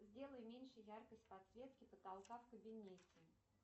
сделай меньше яркость подсветки потолка в кабинете